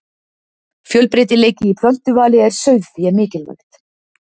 Fjölbreytileiki í plöntuvali er sauðfé mikilvægt.